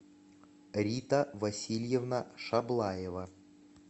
рита васильевна шаблаева